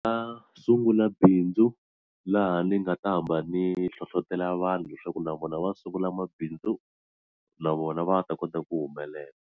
nga sungula bindzu laha ni nga ta hamba ni hlohlotelo vanhu leswaku na vona va sungula mabindzu na vona va ta kota ku humelela.